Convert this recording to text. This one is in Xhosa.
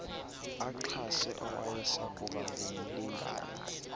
axhase owayesakuba ngumlingane